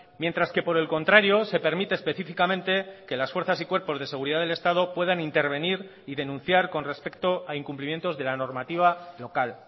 mientras que por el contrario se permite específicamente que las fuerzas y cuerpos de seguridad del estado puedan intervenir y denunciar con respecto a incumplimientos de la normativa local